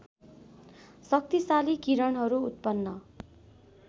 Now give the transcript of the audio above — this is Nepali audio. शक्तिशाली किरणहरू उत्पन्न